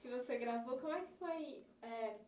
que você gravou, como é que foi, é...